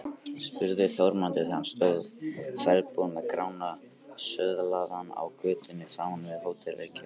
spurði Þórmundur þegar hann stóð ferðbúinn með Grána söðlaðan á götunni framan við Hótel Reykjavík.